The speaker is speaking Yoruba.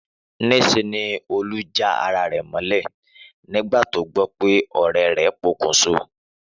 Níse ni Olú jan ara rè mólè nígbà tó gbó pe òré rè pokùnso